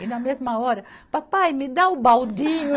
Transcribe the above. E na mesma hora, papai, me dá o baldinho.